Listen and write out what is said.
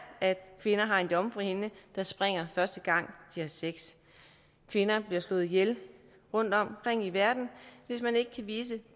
at kvinder har en jomfruhinde der springer første gang de har sex kvinder bliver slået ihjel rundtomkring i verden hvis man ikke kan vise